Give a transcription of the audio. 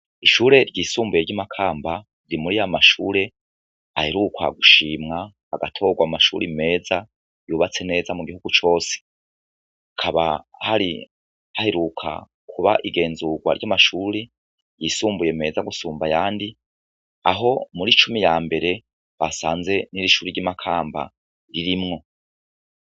Ishure ryisumbuye ry'i Makamba, riri muri ya mashure aherukwa gushimwa agatorwa mu mashure meza yubatse neza mu gihugu cose, hakaba hari haheruka kuba igenzurwa ry'amashure yisumbuye meza gusumba ayandi, aho muri cumi ya mbere basanze iri shure ry'i Makamba ririmwo.